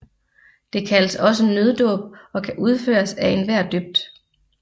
Det kaldes også nøddåb og kan udføres af enhver døbt